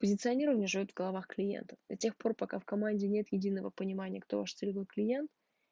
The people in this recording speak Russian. позиционирование живёт в головах клиентов до тех пор пока в команде нет единого понимания кто ваш целевой клиент